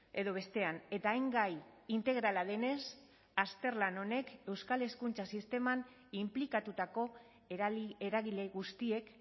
edo bestean eta hain gai integrala denez azterlan honek euskal hezkuntza sisteman inplikatutako eragile guztiek